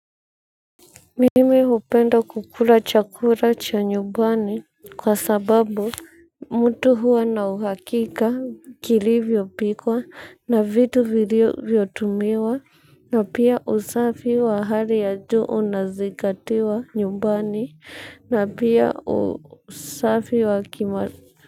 Mimi upenda kukula chakula cha nyumbani kwa sababu mtu huwa na uhakika kilivyo pikwa na vitu vilio vyotumiwa. Na pia usafi wa hali ya juu unazingatiwa nyumbani na pia usafi wa kima.